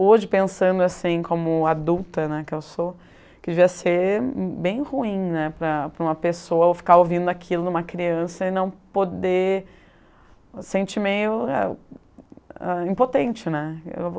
Hoje, pensando assim como adulta né, que eu sou, que devia ser bem ruim né, para para uma pessoa ficar ouvindo aquilo de uma criança e não poder... Sente meio ah eh impotente né.